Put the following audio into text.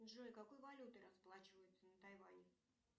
джой какой валютой расплачиваются на тайване